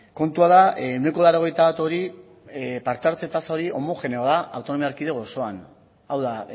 kontua da ehuneko laurogeita bat hori parte hartze tasa homogeneoa da autonomia erkidego osoan hau da